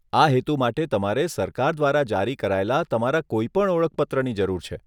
આ હેતુ માટે તમારે સરકાર દ્વારા જારી કરાયેલા તમારા કોઈપણ ઓળખપત્રની જરૂર છે.